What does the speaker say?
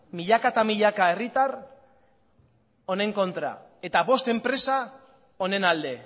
milaka eta milaka herritar honen kontra eta bost enpresa honen alde